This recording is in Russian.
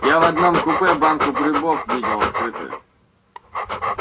я в одном купе банку грибов видел открытую